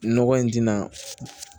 Nɔgɔ in tɛna